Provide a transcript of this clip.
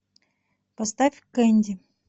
поставь кэнди